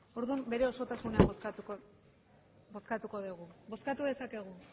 orduan bere osotasunean bozkatuko dugu bozkatu dezakegu